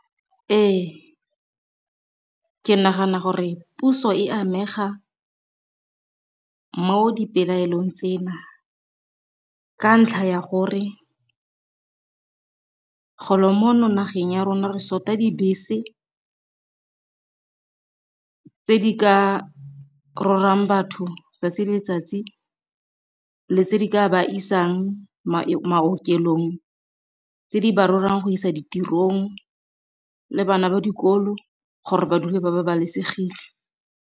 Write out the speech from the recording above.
Ee, ke nagana gore puso e amega mo dipelaelong tsena, ka ntlha ya gore go lo mo nageng ya rona re short-a dibese tse di ka rwalang batho 'tsatsi le letsatsi le tse di ka ba isang maokelong, tse di ba rwalang go isa ditirong le bana ba dikolo gore ba dule ba babalesegile.